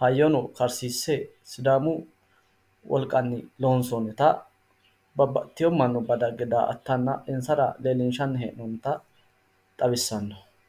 hayyono horoonsidhe babbaxxitino daga daggeenna insara xawinsanni hee'noonnita xawissanno footooti